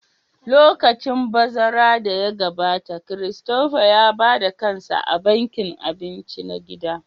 Lokacin bazara da ya gabata, Christopher ya ba da kansa a bankin abinci na gida